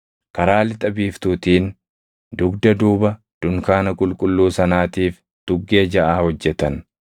Karaa lixa biiftuutiin, dugda duuba dunkaana qulqulluu sanaatiif tuggee jaʼa hojjetan.